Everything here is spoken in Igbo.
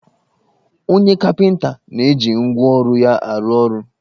Onye kapịnta na-eji ngwa ọrụ ya arụ ọrọ